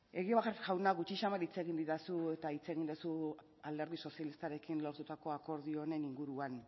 egibar jauna gutxi samar hitz egin didazu eta hitz egin duzu alderdi sozialistarekin lortutako akordioaren inguruan